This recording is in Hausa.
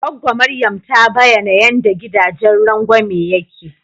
Gwaggo Maryam ta bayana yanda gidajen rangwame yake.